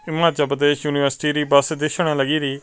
Himachal Pradesh university ਦੀ bus ਦਿਖਣ ਲੱਗ ਰਹੀ।